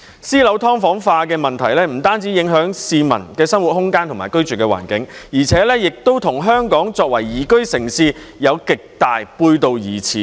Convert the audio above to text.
私樓"劏房化"的問題不單影響市民的生活空間和居住環境，而且亦與香港作為宜居城市極為背道而馳。